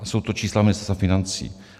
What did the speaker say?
Jsou to čísla Ministerstva financí.